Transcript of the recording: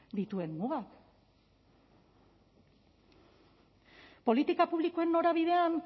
dituen mugak politika publikoen norabidean